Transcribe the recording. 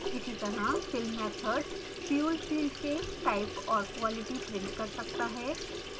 इसीतरह fill method fuel filled के type और quantity print कर सकता है